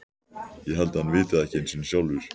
Ég held að hann viti það ekki einu sinni sjálfur.